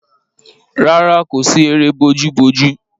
Rárá, kò sí eré bojúbojú.